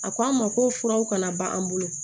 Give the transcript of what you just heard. A ko an ma ko furaw kana ban an bolo